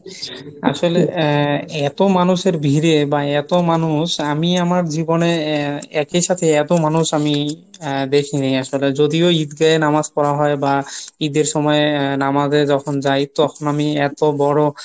আসলে আহ এতো মানুষের ভীড়ে বা এতো মানুষ আমি আমার জীবনে একই সাথে এতো মানুষ আমি আহ দেখিনি, আসলে যদিও ঈদগাহে নামাজ পড়া হয় বা ঈদ এর সময়ে নামাজ এ যখন যাই তখন আমি এতো বড়